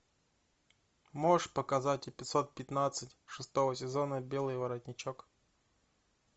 можешь показать эпизод пятнадцать шестого сезона белый воротничок